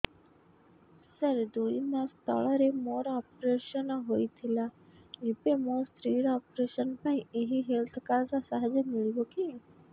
ସାର ଦୁଇ ମାସ ତଳରେ ମୋର ଅପେରସନ ହୈ ଥିଲା ଏବେ ମୋ ସ୍ତ୍ରୀ ର ଅପେରସନ ପାଇଁ ଏହି ହେଲ୍ଥ କାର୍ଡ ର ସାହାଯ୍ୟ ମିଳିବ କି